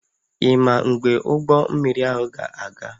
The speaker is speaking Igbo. Ị ma mgbe ụgbọ mmiri ahụ ga-aga?